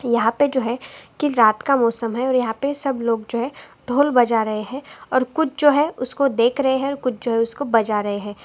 यहाँ पे जो है की रात का मौसम है और यहां पर सब लोग जो है ढोल बजा रहे हैं और कुछ जो है उसको देख रहे हैं कुछ जो है उसको बजा रहे हैं।